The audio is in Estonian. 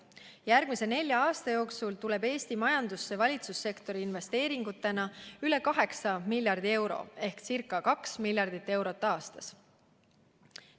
Järgmise nelja aasta jooksul tuleb Eesti majandusse valitsussektori investeeringutena üle 8 miljardi euro ehk ca 2 miljardit eurot aastas.